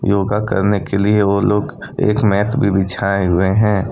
योगा करने के लिए वो लोग एक मेप भी बिछाए हुए हैं।